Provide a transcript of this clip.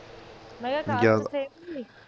ਜਬ ਮੈਂ ਕਿਹਾ caste same ਮਿਲੀ